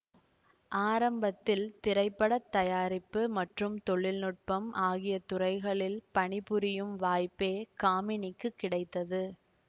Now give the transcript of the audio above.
ஆரம்பத்தில் திரைப்பட தயாரிப்பு மற்றும் தொழில்நுட்பம் ஆகிய துறைகளில் பணிபுரியும் வாய்ப்பே காமினிக்கு கிடைத்தது